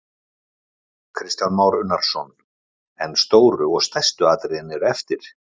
Kristján Már Unnarsson: En stóru og stærstu atriðin eru eftir?